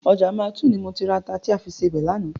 Ọjà Mile12 ni mo ti ra ata ta fi sebẹ̀ lánàá.